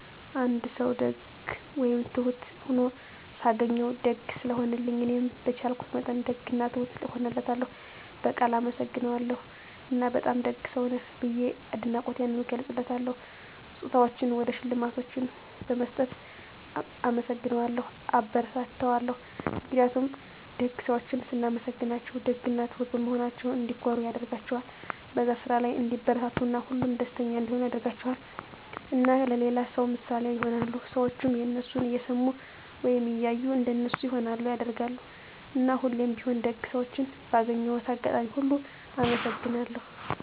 አንድ ሰዉ ደግ ወይም ትሁት ሁኖ ሳገኘዉ፤ ደግ ስለሆነልኝ እኔም በቻልኩት መጠን ደግ እና ትሁት እሆንለታለሁ፣ በቃል አመሰግነዋለሁ እና በጣም ደግ ሰዉ ነህ ብዬ አድናቆቴንም እገልፅለታለሁ። ስጦታዎችን ወይም ሽልማቶችን በመስጠት እናመሰግነዋለሁ (አበረታታዋለሁ) ። ምክንያቱም ደግ ሰዎችን ስናመሰግናቸዉ ደግ እና ትሁት በመሆናቸዉ እንዲኮሩ ያደርጋቸዋል፣ በዛ ስራ ላይ እንዲበረታቱ እና ሁሌም ደስተኛ እንዲሆኑ ያደርጋቸዋል። እና ለሌላ ሰዉ ምሳሌ ይሆናሉ። ሰዎችም የነሱን እየሰሙ ወይም እያዩ እንደነሱ ይሆናሉ (ያደርጋሉ)። እና ሁሌም ቢሆን ደግ ሰዎችን ባገኘሁት አጋጣሚ ሁሉ አመሰግናቸዋለሁ።